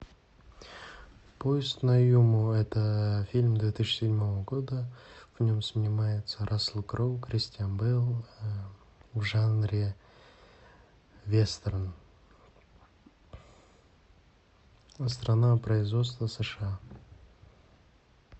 поезд на юму это фильм две тысячи седьмого года в нем снимается рассел кроу кристиан бейл в жанре вестерн страна производства сша